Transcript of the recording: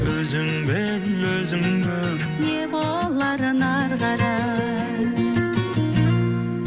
өзің біл өзің көр не боларын ары қарай